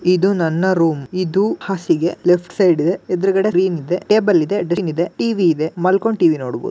ಇದು ನನ್ನ ರೂಮ್ ಇದು ಹಾಸಿಗೆ ಲೆಫ್ಟ್ ಸೈಡ್ ಇದೆ ಎದುರುಗಡೆ ಸ್ಕ್ರೀನ್ ಇದೆ ಟೇಬಲ್ ಇದೆ ಡಸ್ಟ್ಬಿನ್ ಇದೆ ಟಿವಿ ಇದೆ ಮಾಲ್ಕೊಂಡು ಟಿವಿ ನೋಡಬಹುದು .